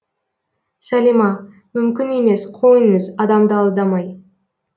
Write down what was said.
салима мүмкін емес қойыңыз адамды алдамай